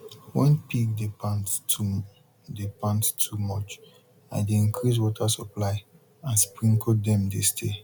when pig dey pant too dey pant too much i dey increase water supply and sprinkle dem de stay